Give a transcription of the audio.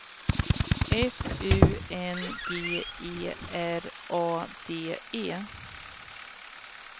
F U N G E R A D E